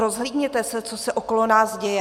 Rozhlídněte se, co se okolo nás děje!